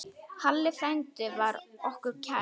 Halli frændi var okkur kær.